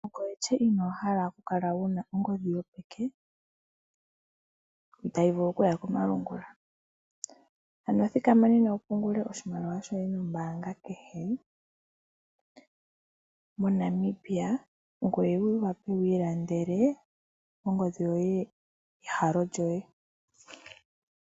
Ongoye lye inoo hala okukala wu na ongodhi yopeke tayi vulu okuya komalungula? Thikama nena wu pungule oshimaliwa shoye nombaanga kehe moNamibia ngoye wu wape wu ilandele ongodhi yoye yehogololo lyoye.